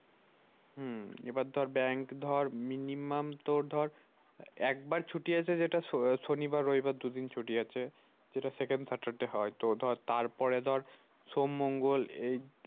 হম এবার ধর bank ধর minimum তোর ধর একবার ছুটি আছে যেটা শনিবার রবিবার দুদিন ছুটি আছে। যেটা second saturday হয় তো ধর তারপরে ধর সোম মঙ্গল এই